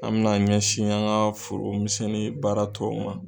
An mɛna an ɲɛsin an ŋa foro misɛn ni baara tɔw ma